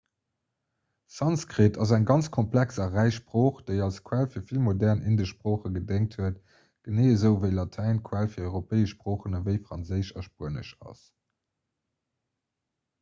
sanskrit ass eng ganz komplex a räich sprooch déi als quell fir vill modern indesch sproochen gedéngt huet genee esou ewéi latäin d'quell fir europäesch sproochen ewéi franséisch a spuenesch ass